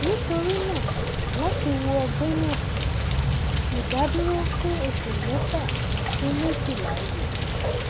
nítorí náà láti wo ọgbẹ náà sàn ìdádúró fún oṣù mẹfà sí méjìlá yẹ